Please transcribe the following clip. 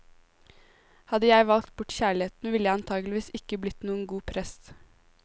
Hadde jeg valgt bort kjærligheten, ville jeg antagelig ikke blitt noen god prest.